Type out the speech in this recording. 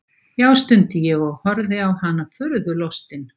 Já, stundi ég og horfði á hana furðulostinn.